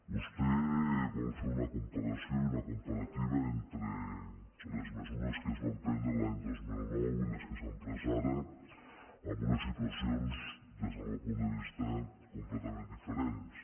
vostè vol fer una comparació i una comparativa entre les mesures que es van prendre l’any dos mil nou i les que s’han pres ara amb unes situacions des del meu punt de vista completament diferents